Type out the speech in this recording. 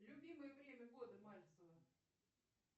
любимое время года мальцева